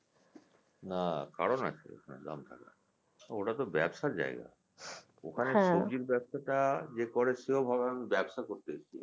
না কারণ আছে ওটা তো ব্যবসার জায়গা ওখানে সবজির ব্যবসাটা যে করে সেও ভাবে আমি ব্যবসা করতে করতেছি